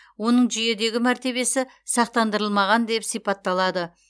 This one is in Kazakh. оның жүйедегі мәртебесі сақтандырылмаған деп сипатталады